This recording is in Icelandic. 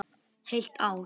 Heilt ár.